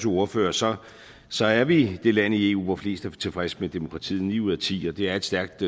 ordfører så så er vi det land i eu hvor flest er tilfredse med demokratiet nemlig ni ud af ti og det er et stærkt